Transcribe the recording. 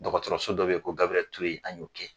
Dɔkɔtɔrɔso dɔ be yen ko Gabirɛli Ture an y'o kɛ.